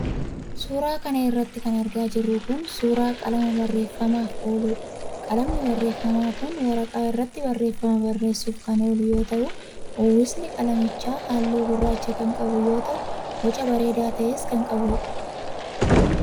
Suura kana irratti kan argaa jirru kun, suura qalama barreeffamaaf ooludha. Qalamni barreeffamaa kun, waraqaa irratti barreeffama barreessuuf kan oolu yoo ta'u, uwwisni qalamichaa haalluu gurraacha kan qabu yoo ta'u, boca bareedaa ta.es kan qabuudha.